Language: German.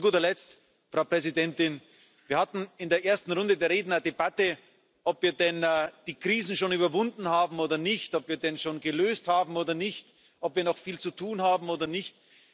Zu guter Letzt, Frau Präsidentin Wir hatten in der ersten Runde der Reden eine Debatte, ob wir denn die Krisen schon überwunden haben oder nicht, ob wir sie denn schon gelöst haben oder nicht, ob wir noch viel zu tun haben oder nicht.